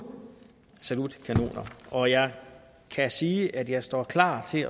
salutkanoner og jeg kan sige at jeg står klar til